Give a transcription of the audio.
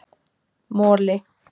Moli